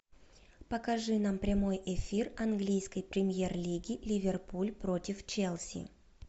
покажи нам прямой эфир английской премьер лиги ливерпуль против челси